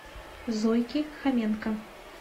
зойки хоменко